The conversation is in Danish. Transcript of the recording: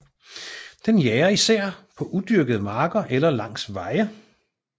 Den jager især på udyrkede marker eller langs veje